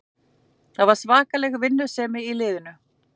Það var svakaleg vinnusemi í liðinu